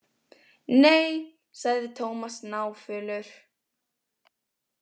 Nei, sagði Tómas náfölur.